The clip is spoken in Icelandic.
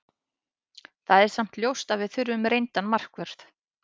Það er samt ljóst að við þurfum reyndan markvörð.